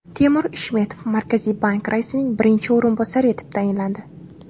Temur Ishmetov Markaziy bank raisining birinchi o‘rinbosari etib tayinlandi.